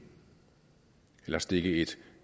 eller stikke et